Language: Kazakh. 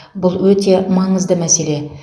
бұл өте маңызды мәселе